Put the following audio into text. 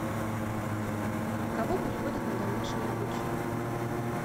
кого переводят на домашнее обучение